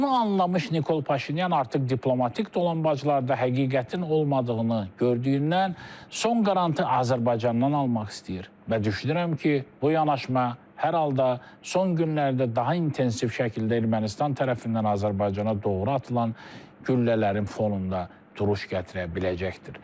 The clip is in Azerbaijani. Bunu anlamış Nikol Paşinyan artıq diplomatik dolanbaclarda həqiqətin olmadığını gördüyündən son qarantini Azərbaycandan almaq istəyir və düşünürəm ki, bu yanaşma hər halda son günlərdə daha intensiv şəkildə Ermənistan tərəfindən Azərbaycana doğru atılan güllələrin fonunda duruş gətirə biləcəkdir.